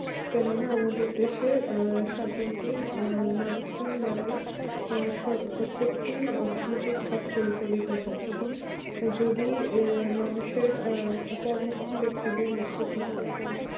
কেননা আমাদের দেশে আহ সাধনতো আহ মানুষ জন দাঁড়ায় প্রত্যেকটি অর্থনৈতিক কাজ পরিচালিত হয় কিন্তু যদি মানুষে আর কর্মফল দেখতে চাই মৃর্তু